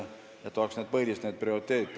Need oleks põhilised need prioriteedid.